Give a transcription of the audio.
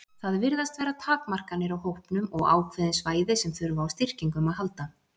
Það virðast vera takmarkanir á hópnum og ákveðin svæði sem þurfa á styrkingum að halda.